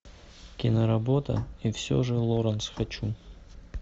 киноработа и все же лоранс хочу